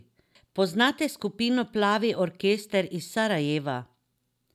Poznate skupino Plavi orkester iz Sarajeva?